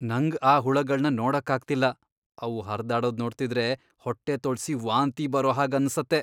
ನಂಗ್ ಆ ಹುಳಗಳ್ನ ನೋಡಕ್ ಆಗ್ತಿಲ್ಲ, ಅವು ಹರ್ದಾಡೋದ್ ನೋಡ್ತಿದ್ರೆ ಹೊಟ್ಟೆ ತೊಳ್ಸಿ ವಾಂತಿ ಬರೋ ಹಾಗ್ ಅನ್ಸತ್ತೆ.